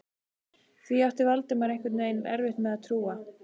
Því átti Valdimar einhvern veginn erfitt með að trúa.